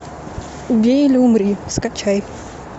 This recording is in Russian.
убей или умри скачай